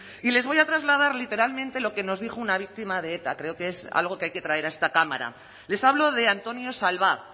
y les voy a trasladar literalmente lo que nos dijo una víctima de eta creo que es algo que hay que traer a esta cámara les hablo de antonio salvá